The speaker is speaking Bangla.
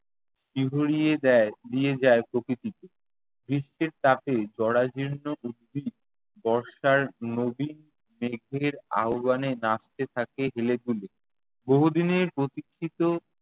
শিহরিয়ে দেয় দিয়ে যায় প্রকৃতিকে। গ্রীষ্মের তাপে জরাজীর্ণ উদ্ভিদ বর্ষার নবীন মেঘের আহ্ববানে নাচতে থাকে হেলে দুলে। বহুদিনের প্রতীক্ষিত